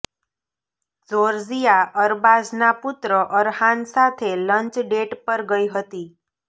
Georgia અરબાઝના પુત્ર અરહાન સાથે લંચ ડેટ પર ગઈ હતી